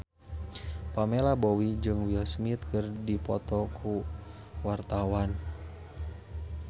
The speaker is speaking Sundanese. Pamela Bowie jeung Will Smith keur dipoto ku wartawan